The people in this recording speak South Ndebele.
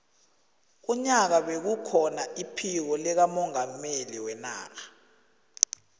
unyaka bekukhona iphiko likamongameli wenarha